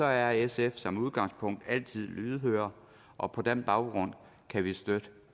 er sf som udgangspunkt altid lydhør og på den baggrund kan vi støtte